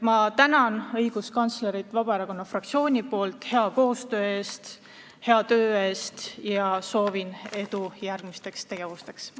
Ma tänan õiguskantslerit Vabaerakonna fraktsiooni nimel hea koostöö eest, hea töö eest ja soovin edu järgmisteks sammudeks.